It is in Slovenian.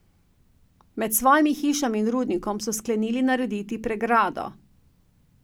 Med svojimi hišami in rudnikom so sklenili narediti pregrado.